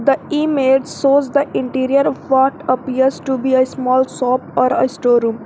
The image shows the interior part appears to be a small shop or a store room.